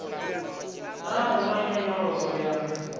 naa hu na nyonyoloso ya